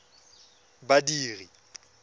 badiri